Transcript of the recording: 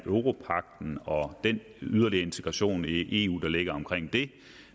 om europagten og den yderligere integration i eu der ligger omkring den